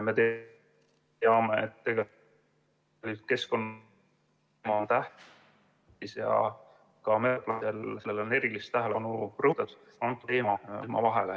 Me teame, et tegelikult keskkond on tähtis ja ... on sellele erilist tähelepanu pööratud.